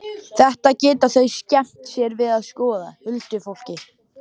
Þetta geta þau skemmt sér við að skoða, huldufólkið.